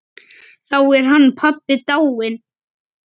Þá er hann pabbi dáinn.